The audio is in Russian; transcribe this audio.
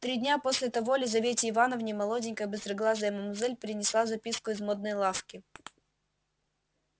три дня после того лизавете ивановне молоденькая быстроглазая мамзель принесла записку из модной лавки